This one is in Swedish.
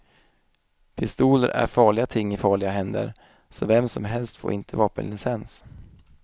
Pistoler är farliga ting i farliga händer, så vem som helst får inte vapenlicens.